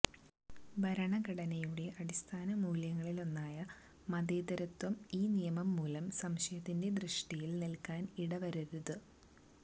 ഭരണഘടനയുടെ അടിസ്ഥാന മൂല്യങ്ങളിലൊന്നായ മതേതരത്വം ഇൌ നിയമംമൂലം സംശയത്തിന്റെ ദൃഷ്ടിയിൽ നിൽക്കാൻ ഇടവരരുത്